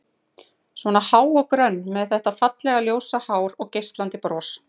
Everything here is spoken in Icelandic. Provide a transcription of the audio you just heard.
Svona há og grönn, með þetta fallega, ljósa hár og geislandi bros.